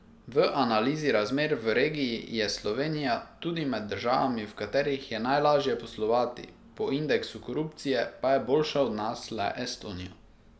V analizi razmer v regiji je Slovenija tudi med državami, v katerih je najlaže poslovati, po indeksu korupcije pa je boljša od nas le Estonija.